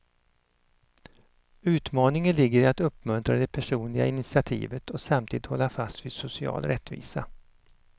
Utmaningen ligger i att uppmuntra det personliga initiativet och samtidigt hålla fast vid social rättvisa.